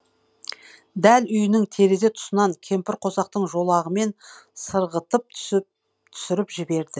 дәл үйінің терезе тұсынан кемпірқосақтың жолағымен сырғытып түсіріп жіберді